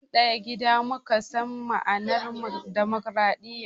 Tin daya gida muka san ma'anan dimokradiya